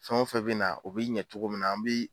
Fɛn o fɛn bɛ na u bi ɲɛ cogo min na an bi